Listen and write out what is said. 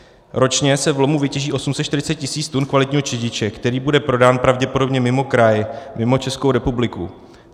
Ročně se v lomu vytěží 840 tisíc tun kvalitního čediče, který bude prodán pravděpodobně mimo kraj, mimo Českou republiku.